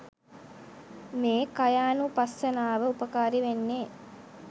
මේ කායානුපස්සනාව උපකාරී වෙන්නෙ.